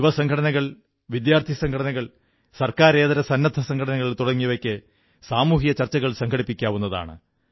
യുവസംഘടനകൾ വിദ്യാർഥിസംഘടനകൾ സർക്കാരിതര സന്നദ്ധ സംഘനകൾ തുടങ്ങിയവർക്ക് സാമൂഹിക ചർച്ചകൾ സംഘടിപ്പിക്കാവുന്നതാണ്